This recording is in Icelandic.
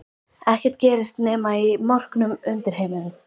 Ekkert gerist nema í morknum undirheimum.